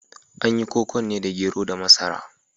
An yi kokon ne da gero da masara.